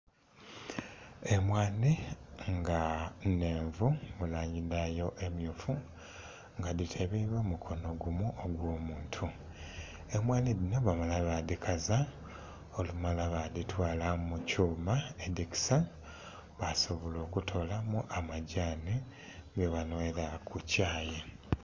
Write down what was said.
Emwanhi nga enhenvu mu langi dhayo emyufu nga dhiteleibwa mu mukonho ogwo muntu, emwanhi dhino bamala badhikaza olumala badhitwala mu kyuma ekisa basobola okutolamu amadhani ge banhwera ku kyaayi.